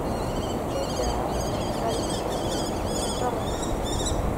kejaa itarikini e taata